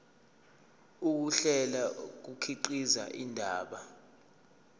ukuhlela kukhiqiza indaba